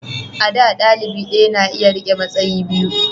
a da dalibi daya na iya rike matsayi biyu